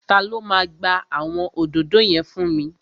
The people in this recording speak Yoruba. Ta ló máa gba àwọn òdòdó yẹn fún mi?